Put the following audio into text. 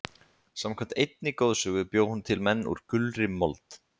Samkvæmt einni goðsögu bjó hún til menn úr gulri mold.